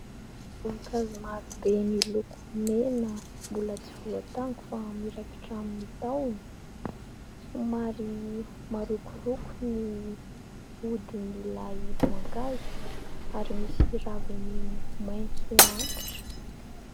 Voankazo maro be miloko mena, mbola tsy voatango fa miraikitra amin'ny tahony. Somary marokoroko ny hodin'ilay voankazo ary misy raviny maitso antitra.